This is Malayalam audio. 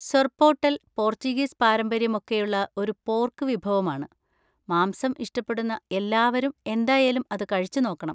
സൊർപോട്ടെൽ പോർച്ചുഗീസ് പാരമ്പര്യം ഒക്കെയുള്ള ഒരു പോർക്ക് വിഭവമാണ്; മാംസം ഇഷ്ടപ്പെടുന്ന എല്ലാവരും എന്തായാലും അത് കഴിച്ചുനോക്കണം.